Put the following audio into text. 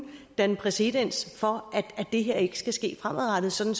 danne præcedens for at det her ikke skal ske fremadrettet sådan